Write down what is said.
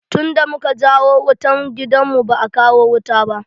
Tun da muka jawo wutan gidan mu, ba a kawo wuta ba.